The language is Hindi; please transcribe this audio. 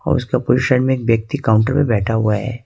और उसके पूरब साइड में एक व्यक्ति काउंटर पर बैठा हुआ है।